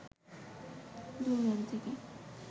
দুই মেরু থেকে